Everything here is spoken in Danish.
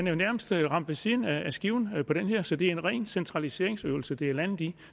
jo nærmest ramt ved siden af skiven på den her så det er en ren centraliseringsøvelse det er landet i